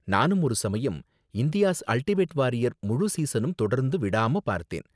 நானும் ஒரு சமயம் 'இந்தியா'ஸ் அல்டிமேட் வாரியர்' முழு சீஸனும் தொடர்ந்து விடாம பார்த்தேன்.